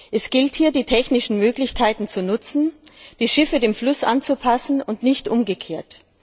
Es gilt, die technischen Möglichkeiten zu nutzen, die Schiffe dem Fluss anzupassen und nicht umgekehrt.